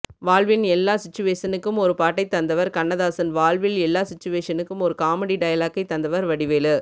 வாழ்வின் எல்லா சிச்சுவேஷனுக்கும் ஒரு பாட்டை தந்தவர் கண்ணதாசன் வாழ்வின் எல்லா சிச்சுவேஷனுக்கும் ஒரு காமெடி டயலாக்கை தந்தவர் வடிவேலு